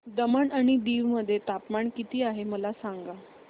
दमण आणि दीव मध्ये तापमान किती आहे मला सांगा